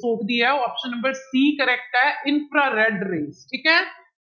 ਸੌਖਦੀ ਆ option number c correct ਹੈ infrared ray ਠੀਕ ਹੈ